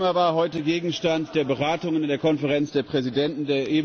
Das Thema war heute Gegenstand der Beratung in der Konferenz der Präsidenten.